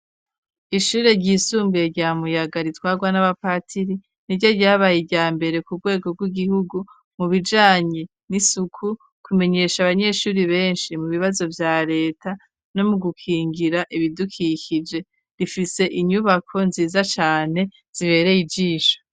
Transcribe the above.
Ishure ryisumbuye, rya Muyaga, ritwarwa n'abapatiri, ni ryo ryabaye, irya mbere, ku rwego rw'igihugu, mu bijanye n'isuku, kumenyesha, abanyeshuri benshi, mu bibazo vya leta, no mu gukingira ibidukikije; rifise inyubako nziza cane, zibereye ijisho.